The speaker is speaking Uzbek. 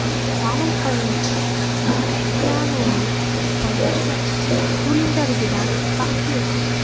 Ma’lum qilinishicha, Krishtianuning oilasi Turindaligidan baxtli.